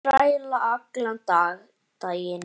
Þræla allan daginn!